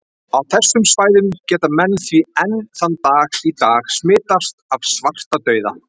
Á þessum svæðum geta menn því enn þann dag í dag smitast af svartadauða.